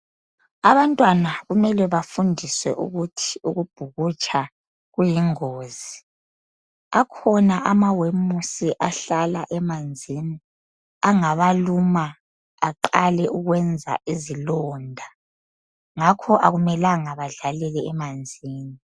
Abantwana kumele bafundiswe ukuthi ukubhukutsha kuyingozi, akhona amawemusi ahlala emanzini angabaluma aqale ukwenza izilonda. Ngakho akumelanga balalele emanzini.